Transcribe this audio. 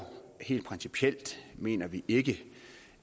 helt principielt mener vi ikke